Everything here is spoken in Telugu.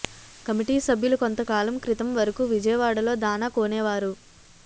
కమిటీ సభ్యులు కొంతకాలం క్రితం వరకు విజయవాడలో దాణా కొనేవారు